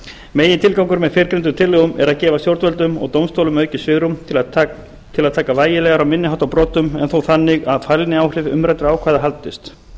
með fyrrgreindum tillögum er að gefa stjórnvöldum og dómstólum aukið svigrúm til að taka vægilegar á minni háttar brotum en þó þannig að fælniáhrif umræddra ákvæða haldist